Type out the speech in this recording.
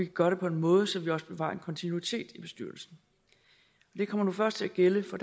gøre det på en måde så vi også bevarer en kontinuitet i bestyrelsen det kommer nu først til at gælde for